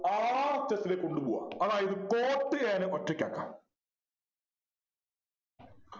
last ത്തില് കൊണ്ടുപോവുക അതായത് cot a നെ ഒറ്റയ്ക്കാക്കുക